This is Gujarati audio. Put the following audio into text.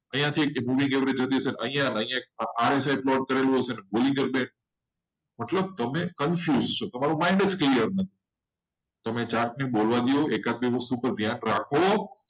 એક book average જતી હશે પ્લોટ કરેલું હશે. મતલબ તને તમે confuse છો. mind જ clear નથી. તમે ચાર્ટ ને બોલવા દો અને એકાદ બે વસ્તુ પર ધ્યાન રાખો.